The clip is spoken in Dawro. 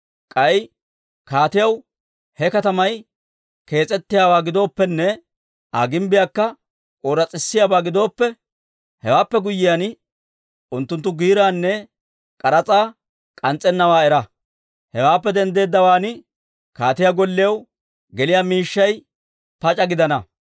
K'ay kaatiyaw, ha katamay kees's'ettiyaabaa giddooppene Aa gimbbiyaakka ooras's'isiyaabaa gidooppe, hewaappe guyyiyaan, unttunttu giiraanne k'aras'aa k'ans's'ennawaa era. Hewaappe denddeeddawaan kaatiyaa gollew geliyaa miishshay pac'a gidana.